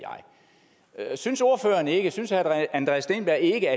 jeg synes herre synes herre andreas steenberg ikke